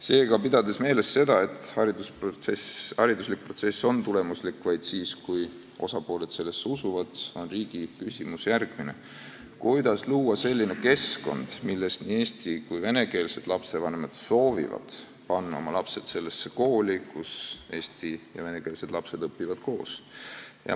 Seega, pidades meeles seda, et haridusprotsess on tulemuslik vaid siis, kui osapooled sellesse usuvad, on riigi küsimus järgmine: kuidas luua selline keskkond, milles nii eesti- kui ka venekeelsed lastevanemad soovivad panna oma lapsed sellesse kooli, kus eesti- ja venekeelsed lapsed õpivad koos?